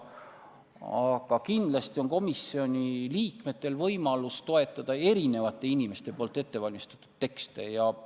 Aga kindlasti on komisjoni liikmetel võimalus toetada erinevate inimeste ettevalmistatud tekste.